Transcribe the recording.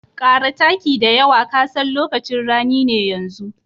Ƙara taki da yawa ka san lokacin rani ne yanzu.